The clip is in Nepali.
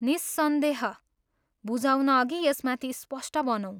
निस्सन्देह, बुझाउनअघि यसमाथि स्पष्ट बनौँ।